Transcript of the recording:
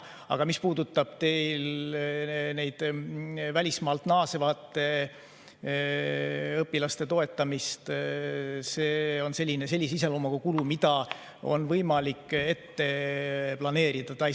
Aga mis puudutab välismaalt naasvate õpilaste toetamist, siis see on sellise iseloomuga kulu, mida on võimalik ette planeerida.